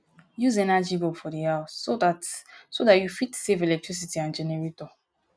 use energy bulb for di house so dat you dat you fit save electricity and generator